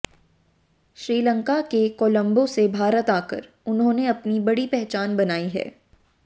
श्रीलंका के कोलंबो से भारत आकर उन्होंने अपनी बड़ी पहचान बनाई है